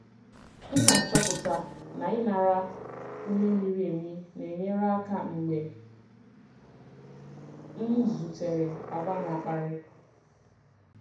M na-achọpụta na ịnara ume miri emi na-enyere aka mgbe m zutere àgwà na-akparị.